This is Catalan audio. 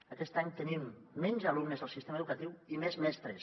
aquest any tenim menys alumnes al sistema educatiu i més mestres